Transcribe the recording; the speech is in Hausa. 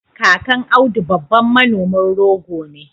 kakan audu babban Manomin rogo ne